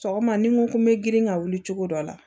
Sɔgɔma ni n ko n bɛ girin ka wuli cogo dɔ la